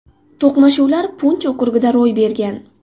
To‘qnashuvlar Punch okrugida ro‘y bergan.